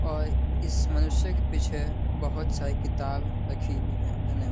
और इस मनुष्य के पीछे बहुत सारी किताब रखी हुई है धन्यवाद।